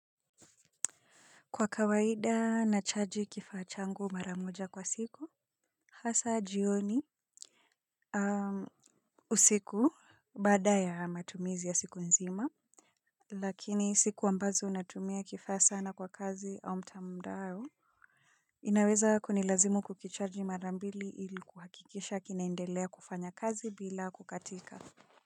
Kwa kawaida na chaji kifaa changu mara moja kwa siku hasa jioni usiku baada ya matumizi ya siku nzima lakini siku ambazo natumia kifaa sana kwa kazi wa mtandao inaweza kunilazimu kukicharji marambili ili kuhakikisha kinaendelea kufanya kazi bila kukatika.